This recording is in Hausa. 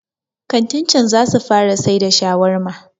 kantin can za su fara sai da shawarma